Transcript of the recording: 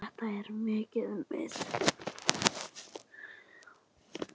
Þetta er mér mikill missir.